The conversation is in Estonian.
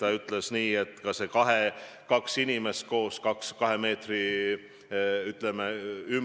Ka on tema sõnul mõistlik maksimaalselt kahe inimese koos olemise ja 2 meetri hoidmise nõue.